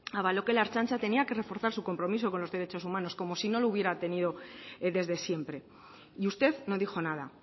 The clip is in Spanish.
avaló que la ertzaintza tenía que reforzar su compromiso con los derechos humanos como si no lo hubiera tenido desde siempre y usted no dijo nada